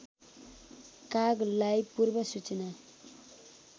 कागलाई पूर्व सूचना